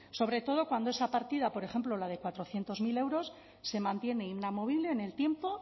sobre todo cuando esa partida por ejemplo la de cuatrocientos mil euros se mantiene inamovible en el tiempo